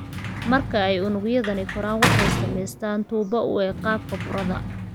Marka ay unugyadani koraan, waxay samaystaan ​​tuubo u eg qaababka burada.